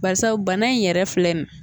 Barisabu bana in yɛrɛ filɛ